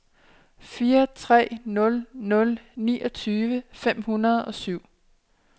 fire tre nul nul niogtyve fem hundrede og syv